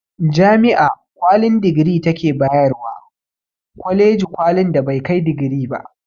Jami'a kwalin digiri ta ke ba yarwa kwaleji kwalin da bai kai digiri ba